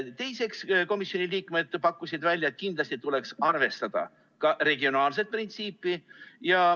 Teiseks, komisjoni liikmed pakkusid välja, et kindlasti tuleks arvestada ka regionaalset printsiipi.